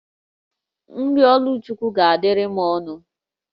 Nri Oluchukwu ga-adịrị m ọnụ